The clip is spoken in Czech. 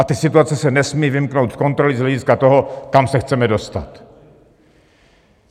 A ty situace se nesmí vymknout kontrole z hlediska toho, kam se chceme dostat.